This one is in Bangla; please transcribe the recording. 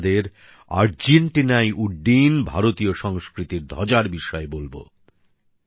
আজ আমি আপনাদের আর্জেন্টিনায় উড্ডীয়মান ভারতীয় সংস্কৃতির ধ্বজার বিষয়ে বলব